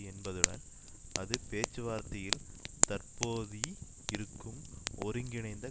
என்பதுடன் அது பேச்சுவார்த்தையில் தற்போதி இருக்கும் ஒருங்கிணைந்த